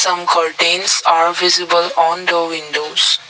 some curtains are visible on the windows.